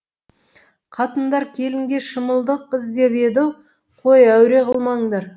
қатындар келінге шымылдық іздеп еді қой әуре қылмандар